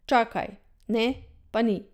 Čakaj, ne, pa ni.